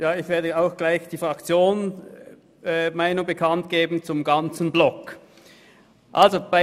Ich werde auch gleich die Fraktionsmeinung der SP-JUSO-PSA-Fraktion zum ganzen Themenblock bekannt geben.